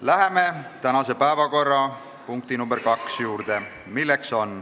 Läheme tänase päevakorra teise punkti juurde.